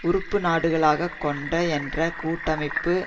உறுப்புநாடுகளாகக் கொண்ட என்ற கூட்டமைப்பு